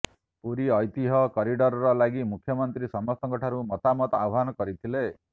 ପୁରୀ ଐତିହ୍ୟ କରିଡର ଲାଗି ମୁଖ୍ୟମନ୍ତ୍ରୀ ସମସ୍ତଙ୍କ ଠାରୁ ମତାମତ ଆହ୍ବାନ କରିଥିଲେ